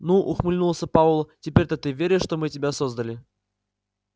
ну ухмыльнулся пауэлл теперь-то ты веришь что мы тебя создали